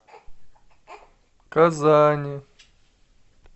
казани